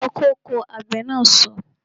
Yọ kóko! Àgbè na so